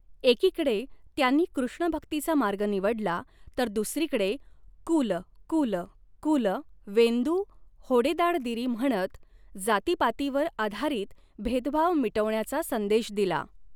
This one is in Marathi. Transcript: एकीकडे त्यांनी कृष्णभक्तीचा मार्ग निवडला, तर दुसरीकडे कुल कुल कुल वेंदु होडेदाड़दिरी म्हणत जातीपातीवर आधारित भेदभाव मिटविण्याचा संदेश दिला.